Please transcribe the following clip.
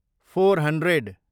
four hundred